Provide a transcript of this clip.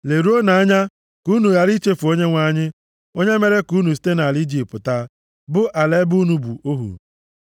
leruonu anya, ka unu ghara ichefu Onyenwe anyị, onye mere ka unu site nʼala Ijipt pụta, bụ ala ebe unu bụ ohu.